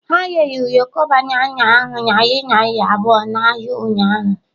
Ha rere ụyọkọ banana ahụ narị naira abụọ n'ahịa ụnyahụ.